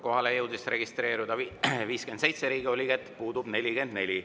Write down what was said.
Kohalolijaks jõudis registreeruda 57 Riigikogu liiget, puudub 44.